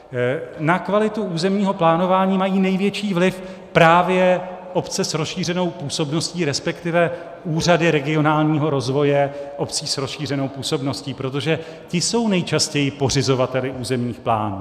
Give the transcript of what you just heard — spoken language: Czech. Na kvalitu územního plánování mají největší vliv právě obce s rozšířenou působností, respektive úřady regionálního rozvoje obcí s rozšířenou působností, protože ty jsou nejčastěji pořizovateli územních plánů.